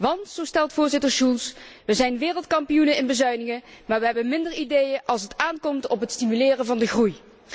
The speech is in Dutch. Want, zo stelt Voorzitter Schulz, we zijn wereldkampioenen in bezuinigen, maar we hebben minder ideeën als het aankomt op het stimuleren van de groei.